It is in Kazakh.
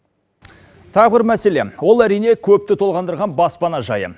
тағы бір мәселе ол әрине көпті толғандырған баспана жайы